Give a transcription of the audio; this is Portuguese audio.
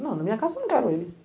Não, na minha casa eu não quero ele.